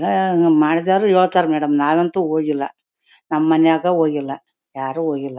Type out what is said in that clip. ಹ್ಮ್ಮ್ ಮಾಡಿದವರು ಹೇಳ್ತಾರೆ ಮೇಡಂ ನಾನ್ ಅಂತು ಹೋಗಿಲ್ಲಾ ನಮ್ ಮನೆಯಾಗ ಹೋಗಿಲ್ಲಾ ಯಾರು ಹೋಗಿಲ್ಲಾ.